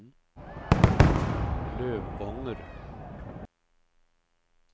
Lövånger